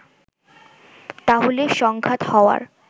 তাহলে সংঘাত হওয়ার